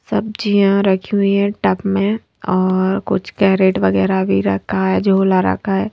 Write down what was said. सब्जियां रखी हुई है टब में और कुछ कैरेट वगैरा भी रखा है झूला रखा है।